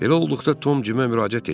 Belə olduqda Tom Cimə müraciət etdi.